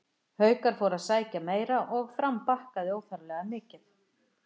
Haukar fóru að sækja meira og Fram bakkaði óþarflega mikið.